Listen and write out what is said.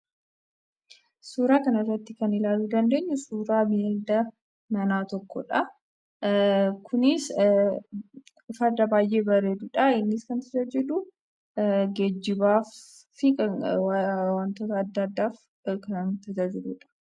Suuraa kanarratti kan ilaaluu dandeenyu, suuraa bineelda manaa tokkoodha. Kunis farda baayyee bareeduudha. Innis kan tajaajilu geejjibaafi wantoota adda addaaf kan tajaajiluudha.